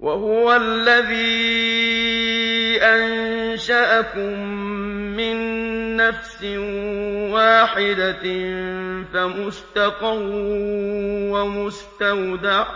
وَهُوَ الَّذِي أَنشَأَكُم مِّن نَّفْسٍ وَاحِدَةٍ فَمُسْتَقَرٌّ وَمُسْتَوْدَعٌ ۗ